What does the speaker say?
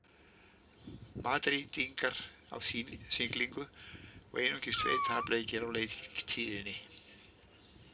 Madrídingar á siglingu og einungis tveir tapleikir á leiktíðinni.